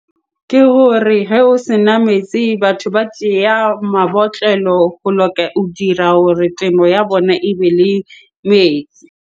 Ke hore hee o sena metsi, batho ba tseya mabotlelo ho dira hore temo ya bona ebe le metsi.